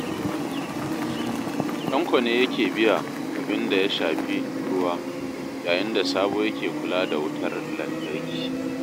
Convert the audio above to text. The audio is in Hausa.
Tanko ne yake biya abin da ya shafi ruwa, yayin da Sabo yake kula da wutar lantarki